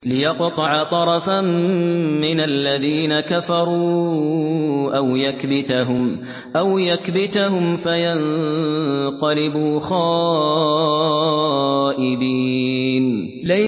لِيَقْطَعَ طَرَفًا مِّنَ الَّذِينَ كَفَرُوا أَوْ يَكْبِتَهُمْ فَيَنقَلِبُوا خَائِبِينَ